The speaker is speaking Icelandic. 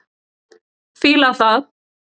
Fíla það.